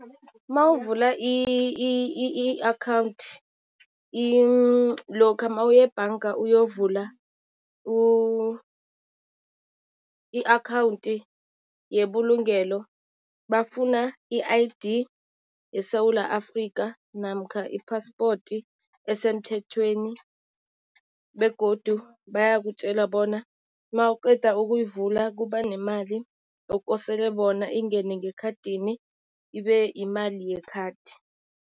Mawuvula i-akhawunthi lokha mawuyebhanga uyovula i-akhawunthi yebulungelo bafuna i-I_D yeSewula Afikha namkha i-passport esemthethweni. Begodu bayakutjela bona mawuqeda ukuyivula kuba nemali ekosele bona ingene ngekhadini, ibe imali yekhadi.